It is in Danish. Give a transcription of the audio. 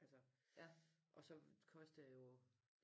Altså og så kostede det jo